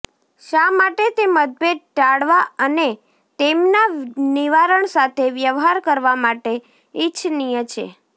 શા માટે તે મતભેદ ટાળવા અને તેમના નિવારણ સાથે વ્યવહાર કરવા માટે ઇચ્છનીય છે